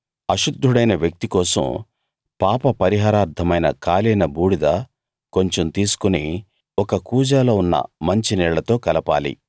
అశుద్ధుడైన వ్యక్తి కోసం పాప పరిహారార్థమైన కాలిన బూడిద కొంచెం తీసుకుని ఒక కూజాలో ఉన్న మంచినీళ్ళతో కలపాలి